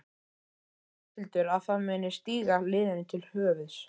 Heldur Ásthildur að það muni stíga liðinu til höfuðs?